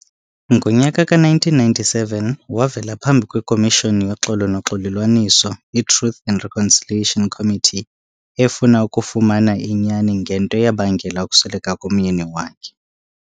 Ngonyaka ka -1997 wavela phambi kwekomishoni yoxolo noxolelwaniso, iTruth and Reconciliation Committee, efuna ukufumana inyani ngento eyabangela ukusweleka komyeni wakhe.